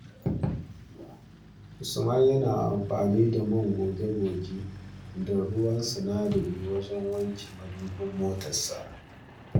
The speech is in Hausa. Usman yana amfani da man goge-goge da ruwan sinadari wajen wanke madubin motarsa.